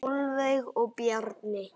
Sólveig og Bjarni.